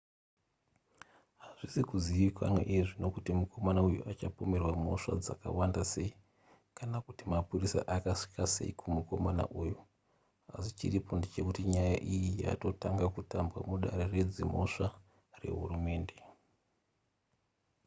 hazvisi kuzivikanwa iye zvino kuti mukomana uyu achapomerwa mhosva dzakawanda sei kana kuti mapurisa akasvika sei kumukomana uyu asi chiripo ndechekuti nyaya iyi yatotanga kutambwa mudare redzimhosva rehurumende